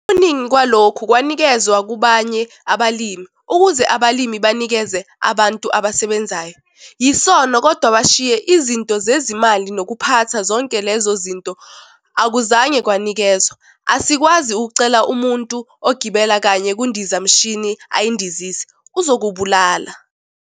Okuningi kwalokhu kwanikezwa kubanye abalimi, ukuze abalimi banikeze abantu abasebenzayo. Yisono kodwa bashiye izinto zezimali nokuphatha zonke lezo zinto akuzange kwanikezwa. Asikwazi ukucela umuntu ogibele kanye kundiza mshini ayindizise - uzokubulala.